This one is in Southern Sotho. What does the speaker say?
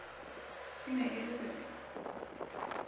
e ne e le sefe